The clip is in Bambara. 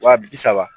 Wa bi saba